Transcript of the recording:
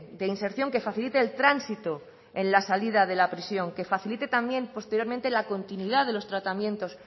de inserción que facilite el transito en la salida de la prisión que facilite también posteriormente la continuidad de los tratamientos